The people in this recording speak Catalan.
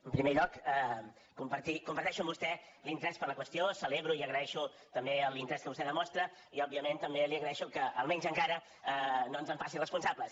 en primer lloc comparteixo amb vostè l’interès per la qüestió celebro i agraeixo també l’interès que vostè demostra i òbviament també li agraeixo que almenys encara no ens en faci responsables